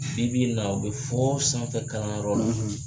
Bi bi in na o bɛ fɔ sanfɛ kalanyɔrɔ la